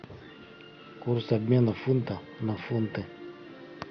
курс обмена фунта на фунты